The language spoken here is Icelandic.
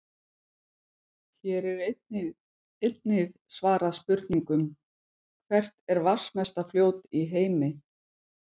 Hér er einnig svarað spurningunum: Hvert er vatnsmesta fljót í heimi?